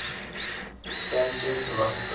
kantian philosophers